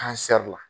la